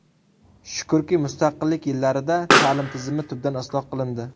Shukrki, mustaqillik yillarida ta’lim tizimi tubdan isloh qilindi.